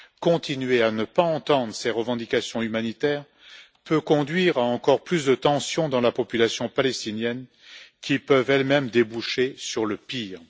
Continuer à ne pas entendre ces revendications humanitaires peut conduire à encore plus de tensions dans la population palestinienne qui peuvent, elles mêmes, déboucher sur le pire.